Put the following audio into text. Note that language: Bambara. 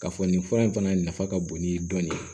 K'a fɔ nin fura in fana nafa ka bon ni dɔn